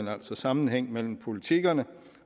altså sammenhæng mellem politikkerne